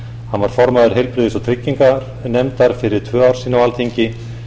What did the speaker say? hann var formaður heilbrigðis og trygginganefndar fyrir tvö ár á alþingi